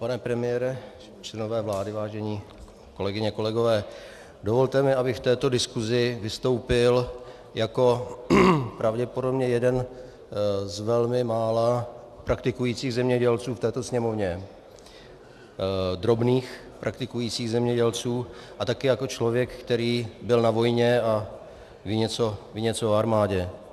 Pane premiére, členové vlády, vážené kolegyně, kolegové, dovolte mi, abych v této diskusi vystoupil jako pravděpodobně jeden z velmi mála praktikujících zemědělců v této Sněmovně, drobných praktikujících zemědělců, a také jako člověk, který byl na vojně a ví něco o armádě.